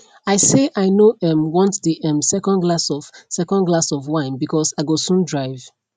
i say i no um want the um second glass of second glass of wine because i go soon drive